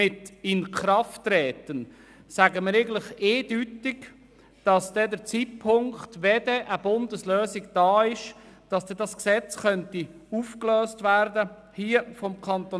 Mit «Inkrafttreten» sagen wir eindeutig, dass zum Zeitpunkt des Inkrafttretens der Bundeslösung das Gesetz des Kantons Bern aufgelöst werden muss.